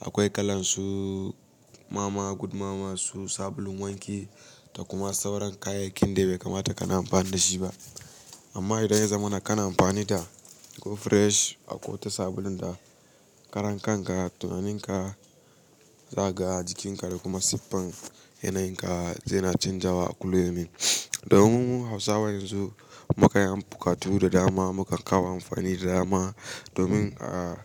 Akwai kalan su mama, good mama su sabulun wanki da kuma sauran kayayyakin da bai kamata kana amfani da shi ba. Amma idan ya zamana kana amfani da Go Fresh akwai wata sabulun da karan kan ka, tunaninka zaka ga jikinka da kuma siffan yanayin ka zai na canjawa a kulla yau min. Dayawan Hausawa yanzu muka yi am bukatu da dama, muka kawo amfani da dama domin a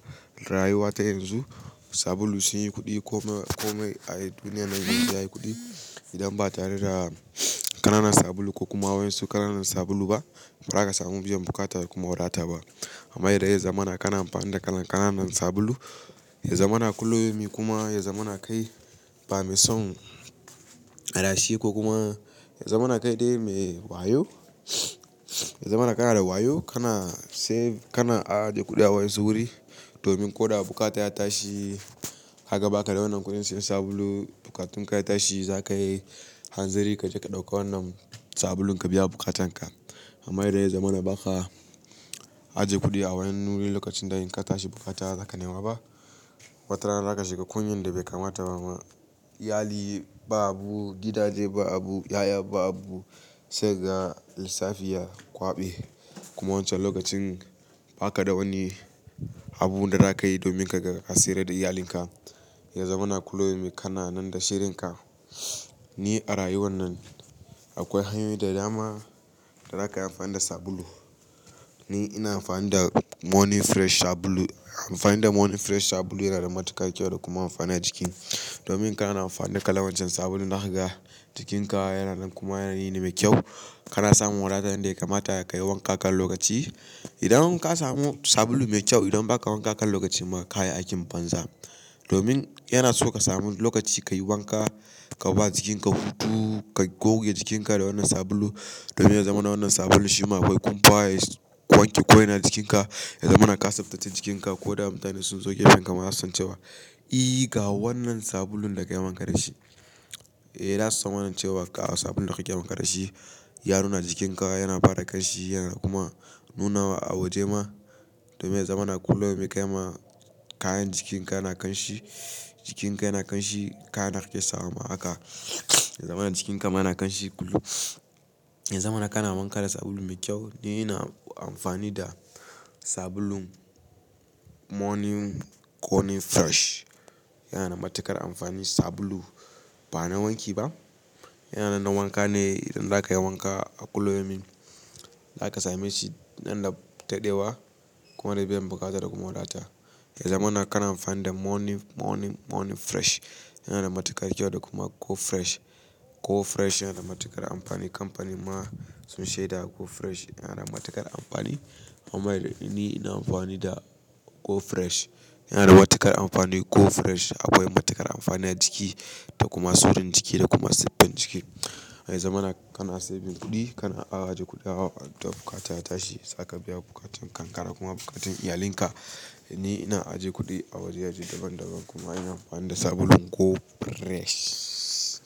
rayuwa ta yanzu. Sabulu sun yi kuɗi komai, komai a duniya nan ya yi kuɗi. Idan ba tare da ƙananan sabulu ko kuma wayar su ƙananan sabulu ba, ba za ka samu biyan bukata da kuma wadata ba. Amma idan ya zamana kana amfani da kalan ƙananan sabulu, ya zamana kullaya min kuma ya zamana kai bamsan adashi ko kuma ya zamana kai dai me wayo, ya zamana kana da wayo kana save, kana aje kuɗi a wayasu wuri. Domin ko da bukata ya tashi, haka ba ka da wannan kuɗin sayan sabulu, bukatun ka ya tashi za ka yi hanzari ka je ka ɗauka wannan sabulun ka biya bukatan ka. Amma idan ya zamana ba ka aje kuɗi a wani wuri lokacin da in ka tashi bukata za ka nema ba, watarana za ka shiga kunyan da bai kamata ba ma. Iyali ba abu, gidaje ba abu, 'ya'ya ba abu, sai ga lissafiya, kwaɓe kuma wancan lokacin ba ka da wani abu da za ka yi domin ka ga ka tsira da iyalinka. Ya zamana kullu yaumin kana nan da shirinka Ni a rayuwar nan akwai hanyoyi da dama da zakayi amfani da sabulu Ni ina amfani da money fresh sabulu, amfani da money fresh sabulu yana da mutukar kyau da kuma amfani ajiki domin kana amfani da kalan wancan sabulun haka ga jikinka yana nan kuma yanayi me mai kyau. Kana samun wadata wanda ya kamata ka yi wanka kan lokaci. Idan ka samu sabulu mai kyau, idan ba ka wanka kan lokaci ma ka yi aikin banza. Domin in kana amfani da kalan wancen sabulun zaka jikin ka yana nan kuma yanayi ne mai kyau domin ya zamana wannan sabulun shima akwai kumfa ya wanke ko'ina ajikin ka, ya zamana ka tsaftace jikinka ko da mutane sunzo gefenka zasu san cewa eh ga wannan sabulun da kayi wanka dashi Eh, za su san wannan cewa ga sabulun da ka yi wanka da shi, ya nuna jikinka yana fara kanshi yana kuma nunawa a waje ma domin ya zamana kulluyaumin kai ma kayan jikinka yana kanshi, jikinka yana kanshi, kayan da kake sawama haka. Ya zamana jikinka ma na kanshi. Ya zamana kana wanka da sabulu mai kyau. Ni ina amfani da sabulun morning conin fresh yana da mutukar amfani Sabulu bana wanki ba yana nan na wanka ne, idan zakayi wanka a kullu yaumin, zaka sameshi dan da daɗewa kuma da biyan buƙata Ya zamana kana amfani da morning fresh yana da matukar kyau da kuma Go Fresh. Ko fresh yana da matuƙar amfani kamfanin ma sun shaida ko fresh yana da mutuƙar amfani amma ni ina amfani da Go Fresh. Yana da matukar amfani Go Fresh akwai matukar amfani a jiki da kuma surun jiki da kuma siffar jiki. Ya zamana kana saving kuɗi, kana aje kuɗi a wata bukata ya tashi za ka biya bukatan ka kuma bukatan iyalinka. Ni ina aje kuɗi a waje-waje daban-daban kuma ina amfani da sabulun Go Fresh.